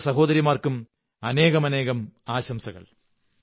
ആ രണ്ടു സഹോദരിമാര്ക്കുംു അനേകം ആശംസകൾ